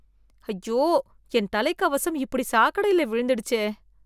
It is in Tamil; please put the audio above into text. ஐயோ என் தலைக்கவசம் இப்படி சாக்கடையில விழுந்துடுச்சே